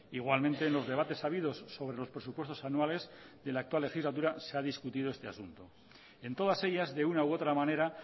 igualmente en los debates habidos sobre los presupuestos anuales de la actual legislatura se ha discutido este asunto en todas ellas de una u otra manera